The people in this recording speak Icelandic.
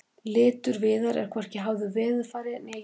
litur viðar er hvorki háður veðurfari né jarðvegi